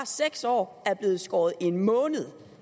seks år er blevet skåret en måned